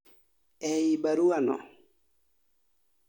e i baruano